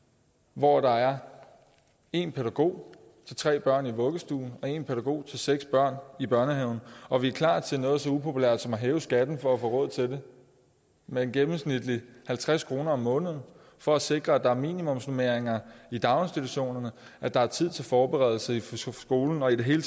hvor der er en pædagog til tre børn i vuggestuen og en pædagog til seks børn i børnehaven og vi er klar til noget så upopulært som at hæve skatten for at få råd til det med gennemsnitlig halvtreds kroner om måneden for at sikre at der er minimumsnormeringer i daginstitutionerne at der er tid til forberedelse i skolen og i det hele